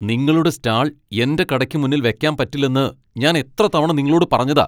നിങ്ങളുടെ സ്റ്റാൾ എന്റെ കടയ്ക്ക് മുന്നിൽ വെക്കാൻ പറ്റില്ലെന്ന് ഞാൻ എത്ര തവണ നിങ്ങളോട് പറഞ്ഞതാ?